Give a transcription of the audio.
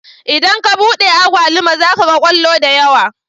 Idan ka buɗe agwaluma zaka ga kwallo da yawa